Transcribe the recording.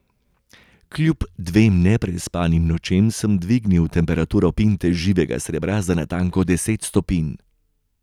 Kljub dvem neprespanim nočem sem dvignil temperaturo pinte živega srebra za natanko deset stopinj.